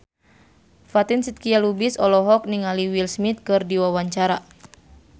Fatin Shidqia Lubis olohok ningali Will Smith keur diwawancara